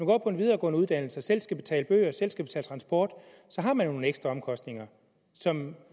går på en videregående uddannelse og selv skal betale bøger og transport har man jo nogle ekstraomkostninger som